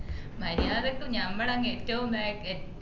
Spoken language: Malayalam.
മരിയാദക്കു ഞമ്മള്‌ അങ്ങ് എറ്റവും ബാക് അഹ്